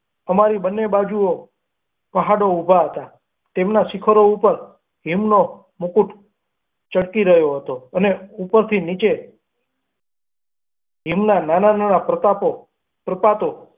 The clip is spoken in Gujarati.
અમારી બન્ને બાજુનો પહાડો ઊભા હતા, તેમનાં શિખરો ઉપર હિમનો મુકુટ ચળકી રહ્યો હતો અને ઉપરથી નીચે હિમના નાના નાના પ્રપાતો પ્રતાપો.